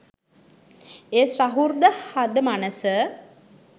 එය සහෘද හද මනස